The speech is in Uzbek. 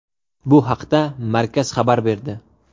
Bu haqda markaz xabar berdi.